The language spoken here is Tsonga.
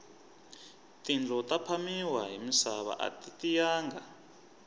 tindlo ta phamiwa hi misava ati tiyanga